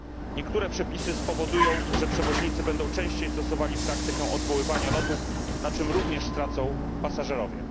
Niektóre przepisy spowodują, że przewoźnicy będą częściej stosowali praktykę odwoływania lotów, na czym również stracą pasażerowie.